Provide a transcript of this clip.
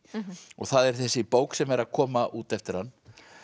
og það er þessi bók sem er að koma út eftir hann